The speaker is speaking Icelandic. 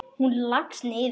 Og hún leggst niður.